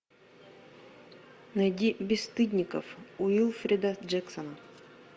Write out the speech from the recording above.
найди бесстыдников уилфрида джексона